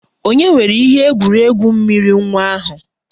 Ònye weere ihe egwuregwu mmiri nwa ahụ?